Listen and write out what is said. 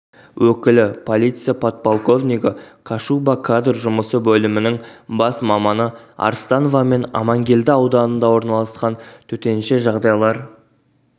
өкілі полиция подполковнигі кашуба кадр жұмысы бөлімінің бас маманы арстановамен амангелді ауданында орналасқан төтенше жағдайлар